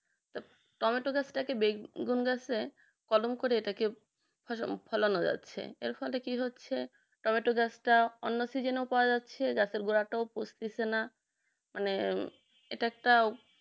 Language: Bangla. টমেটো গাছটা কে বেগুন গাছের কলম করে এটাকে ফলানো যাচ্ছে এর ফলে কি হচ্ছে টমেটো গাছটা অন্য seasons ও পাওয়া যাচ্ছে গাছের গাছের গোড়াটাও পচতেছে না মানে আহ এটা একটা